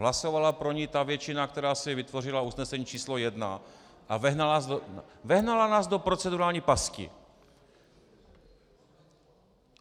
Hlasovala pro ni ta většina, která si vytvořila usnesení číslo jedna a vehnala nás do procedurální pasti.